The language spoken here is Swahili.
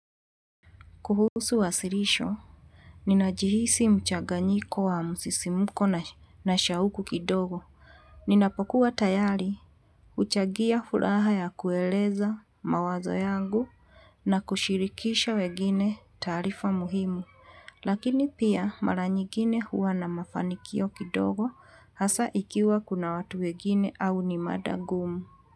Kuhusu wasilisho, ninajihisi mchaganyiko wa msisimuko na shauku kidogo. Ninapokuwa tayari, uchangia furaha ya kueleza mawazo yangu na kushirikisha wengine taarifa muhimu. Lakini pia maranyigine huwa na mafanikio kidogo hasa ikiwa kuna watu wengine au ni mada ngumu.